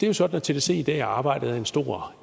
jo sådan at tdc i dag er ejet af en stor